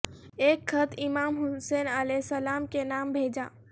ایک خط امام حسین علیہ السلام کے نام بھیجا